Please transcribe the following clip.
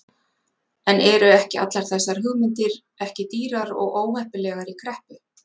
En eru ekki allar þessar hugmyndir ekki dýrar og óheppilegar í kreppu?